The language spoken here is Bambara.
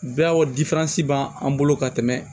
Bɛɛ o b'an an bolo ka tɛmɛ